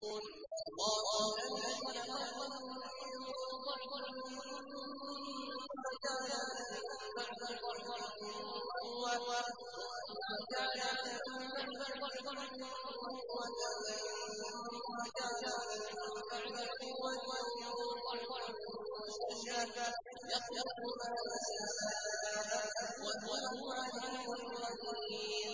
۞ اللَّهُ الَّذِي خَلَقَكُم مِّن ضَعْفٍ ثُمَّ جَعَلَ مِن بَعْدِ ضَعْفٍ قُوَّةً ثُمَّ جَعَلَ مِن بَعْدِ قُوَّةٍ ضَعْفًا وَشَيْبَةً ۚ يَخْلُقُ مَا يَشَاءُ ۖ وَهُوَ الْعَلِيمُ الْقَدِيرُ